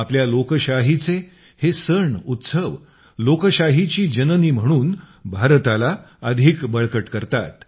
आपल्या लोकशाहीचे हे सण उत्सव लोकशाहीची जननी म्हणून भारताला अधिक बळकट करतात